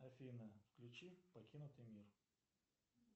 афина включи покинутый мир